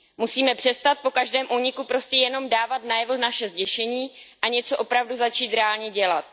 Musíme přestat po každém úniku prostě jenom dávat najevo naše zděšení a něco opravdu začít reálně dělat.